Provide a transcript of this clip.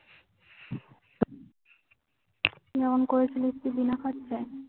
কিরম করেছিলিস তুই বিনা খরচায়